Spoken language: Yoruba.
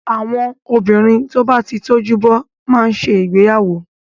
Àwọn obìnrin tó bá ti tójú bọ́ má ń ṣe ìgbéyàwó.